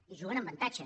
i juguen amb avantatge